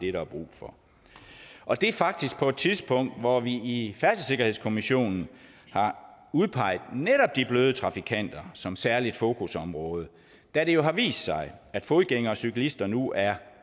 er brug for og det er faktisk på et tidspunkt hvor vi i færdselssikkerhedskommissionen har udpeget netop de bløde trafikanter som særligt fokusområde da det jo har vist sig at fodgængere og cyklister nu er